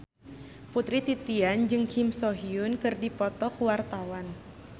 Putri Titian jeung Kim So Hyun keur dipoto ku wartawan